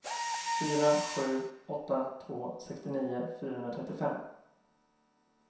fyra sju åtta två sextionio fyrahundratrettiofem